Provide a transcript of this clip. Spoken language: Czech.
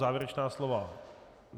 Závěrečná slova?